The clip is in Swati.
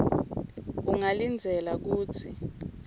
ungalindzela kutsi